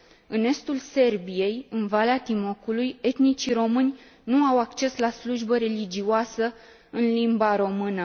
În estul Serbiei, în Valea Timocului, etnicii români nu au acces la slujbă religioasă în limba română